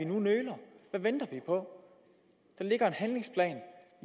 nu nøler hvad venter vi på der ligger en handlingsplan